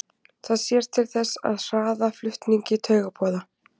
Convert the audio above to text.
það sér til þess að hraða flutningi taugaboða